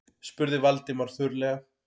spurði Valdimar þurrlega.